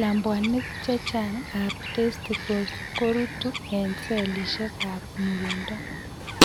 Labwanik chechang' ab testicles koruutu eng' cellisiek ab murindo